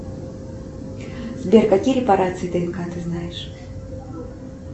сбер какие репарации днк ты знаешь